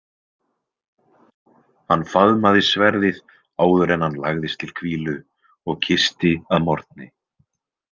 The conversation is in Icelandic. Hann faðmaði sverðið áður en hann lagðist til hvílu og kyssti að morgni.